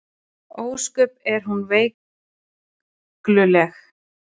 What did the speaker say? Ósköp er hún veikluleg.